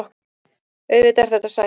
Auðvitað er þetta sætt